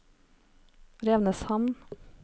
Revsneshamn